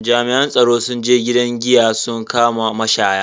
Jami'an tsaro sun je gidan giya sun kama mashaya.